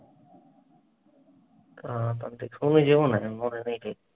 উহ তুমি যেও না মরবে গিয়ে।